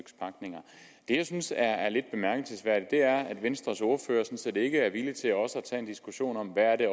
jeg synes er lidt bemærkelsesværdigt er at venstres ordfører sådan set ikke er villig til også at tage en diskussion om hvad det